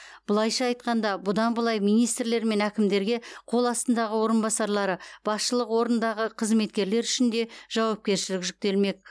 былайша айтқанда бұдан былай министрлер мен әкімдерге қол астындағы орынбасарлары басшылық орындағы қызметкерлер үшін де жауапкершілік жүктелмек